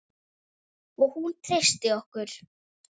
Og hún treysti okkur.